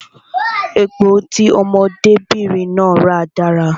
Epo tí ọmọdé bìnrin náà ra dára